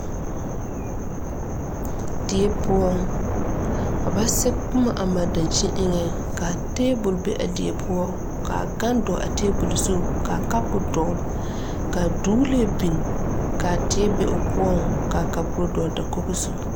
Die poɔ ka ba sɛge boma a mare daŋkyinni eŋɛɛ ka tebol be a die poɔ ka a gane dɔɔ a tebol zu kaa kaapo dɔgle ka duule biŋ ka tɛɛ be o poɔ ka kaapo dɔɔ dakoge zu